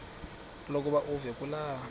lokuba uve kulaa